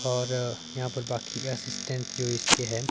और यहां पर बाकी असिस्टेंट जो इसके हैं।